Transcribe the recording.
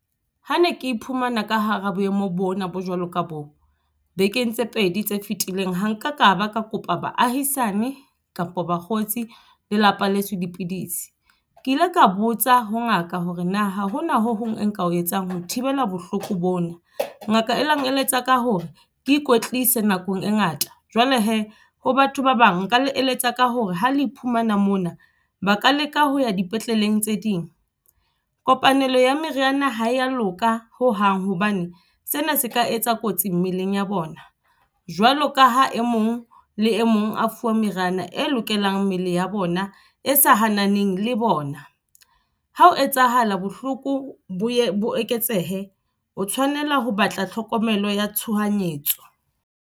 Ha ne ke iphumana ka hara boemo bona bo jwalo ka bo, bekeng tse pedi tse fetileng. Ha nka ka ba ka kopa baahisane kapa bakgotsi le lapa leso dipidisi. Ke ile ka botsa ho ngaka hore na ha hona ho hong e nka o etsang ho thibela bohloko bona. Ngaka e ile ya nkeletsa ka hore ke ikwetlise nakong e ngata. Jwale he ho batho ba bang nka le eletsa ka hore ha le iphumana mona ba ka leka ho ya dipetleleng tse ding. Kopanelo ya meriana ha ya loka ho hang hobane sena se ka etsa kotsi mmeleng ya bona. Jwalo ka ha e mong le e mong a fuwa meriana e lokelang mmele ya bona e sa hananang le bona. Ha ho etsahala, bohloko bo ye bo eketsehe, o tshwanela ho batla tlhokomelo ya tshohanyetso.